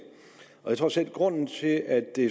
jeg tror sådan set at grunden til at det